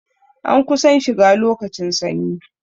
An kusan shiga lokacin sanyi